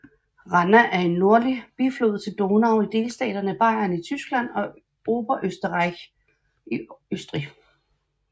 Ranna er en nordlig biflod til Donau i delstaterne Bayern i Tyskland og Oberösterreich i Østrig